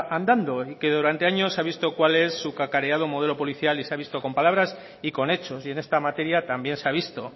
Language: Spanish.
andando y que durante años he visto cuál es su cacareado modelo policial y se ha visto con palabras y con hechos y en esta materia también se ha visto